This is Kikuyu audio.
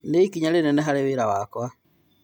Nĩ-ikinya inene harĩ wĩra wakwa.